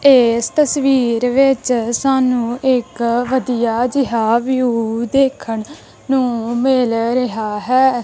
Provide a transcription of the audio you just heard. ਇਸ ਤਸਵੀਰ ਵਿੱਚ ਸਾਨੂੰ ਇੱਕ ਵਧੀਆ ਜਿਹਾ ਵਿਊ ਦੇਖਣ ਨੂੰ ਮਿਲ ਰਿਹਾ ਹੈ।